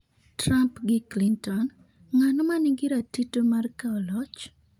Trump gi Clinton: Ng'ano ma ni gi ratito mar kawo loch?